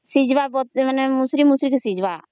ସିଯିବା ବୋଲେ ମୁଷୁରୀ ମୁଷୁରୀ କି ସ୍ୱିଜଜିବ